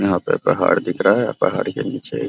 यहाँ पे पहाड़ दिख रहा है पहाड़ के नीचे --